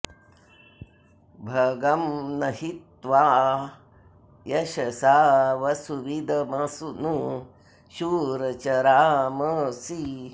भगं॒ न हि त्वा॑ य॒शसं॑ वसु॒विद॒मनु॑ शूर॒ चरा॑मसि